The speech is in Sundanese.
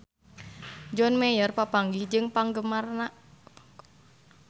John Mayer papanggih jeung penggemarna